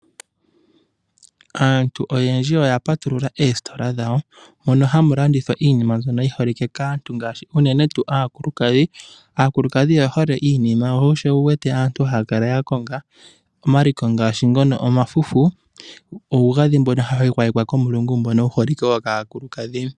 Aantu oyendji oya patulula oositola dhawo mono hamu landithwa iinima mbyono yiholike kaantu unene tuu aakulukadhi. Aakulukadhi oye hole iinima sho osho wuwete aantu haya kala yakonga omaliko ngaashi omafufu nuugadhi wokomulungu.